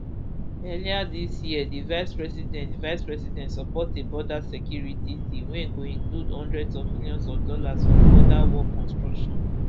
earlier dis year di vicepresident vicepresident support a border security deal wey go include hundreds of millions of dollars for border wall construction